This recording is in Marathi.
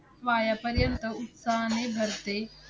पायापर्यंत उत्साहाने भरते.